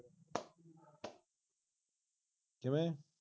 ਕਿਵੇਂ